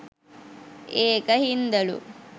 ඒක හින්දලු